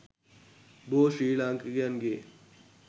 බොහෝ ශ්‍රී ලාංකිකයන්ගේ